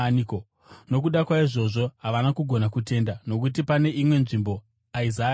Nokuda kwaizvozvo havana kugona kutenda nokuti, pane imwe nzvimbo, Isaya anoti: